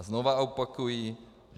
A znovu opakuji.